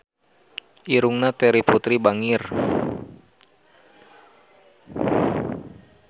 Irungna Terry Putri bangir